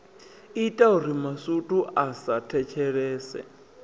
itauri masutu a sa thetshelese